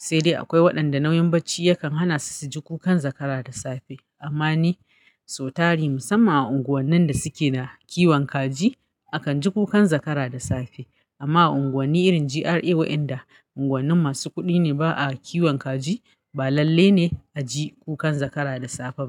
sai dai akwai waɗanda nauyin bacci yakan hana su su ji kukan zakara da safe. Amma ni sau tari musamman a unguwannin da suke da kiwon kaji akan ji kukan zakara da safe. Amma a unguwani irin GRA wayanda unguwanni masu kuɗi ne ba a kiwon kaji ba lalle ne a ji kukan zakara da safe ba.